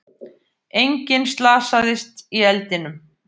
Enginn slasaðist í eldinum